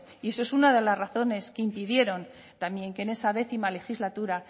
y eso es una de las razones que impidieron también que en esa décima legislatura